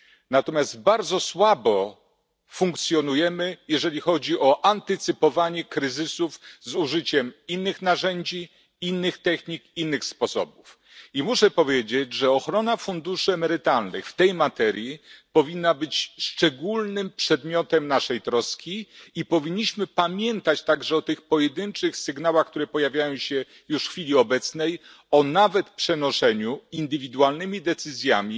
Natomiast bardzo słabo funkcjonujemy, jeżeli chodzi o antycypowanie kryzysów z użyciem innych narzędzi, innych technik, innych sposobów. I muszę powiedzieć, że ochrona funduszy emerytalnych w tej materii powinna być przedmiotem naszej szczególnej troski i powinniśmy pamiętać także o tych pojedynczych sygnałach, które pojawiają się już w chwili obecnej, a nawet o przenoszeniu indywidualnymi decyzjami